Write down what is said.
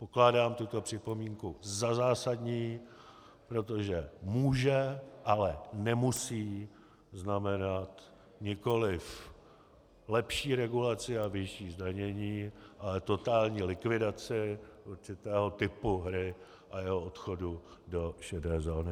Pokládám tuto připomínku za zásadní, protože může, ale nemusí znamenat nikoliv lepší regulaci a vyšší zdanění, ale totální likvidaci určitého typu hry a jeho odchodu do šedé zóny.